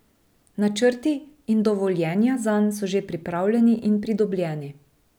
Načrti in dovoljenja zanj so že pripravljeni in pridobljeni.